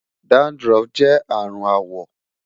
dandruff jẹ arun awọ